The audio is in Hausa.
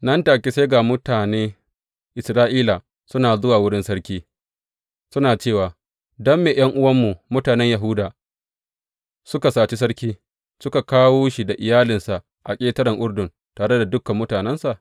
Nan take sai ga mutane Isra’ila suna zuwa wurin sarki, suna cewa, Don me ’yan’uwanmu, mutanen Yahuda, suka saci sarki, suka kawo shi da iyalinsa a ƙetaren Urdun, tare da dukan mutanensa?